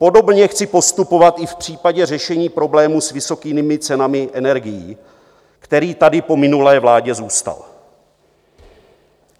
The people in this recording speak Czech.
Podobně chci postupovat i v případě řešení problému s vysokými cenami energií, který tady po minulé vládě zůstal.